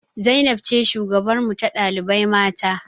Zainab ce shugabarmu ta ɗalibai mata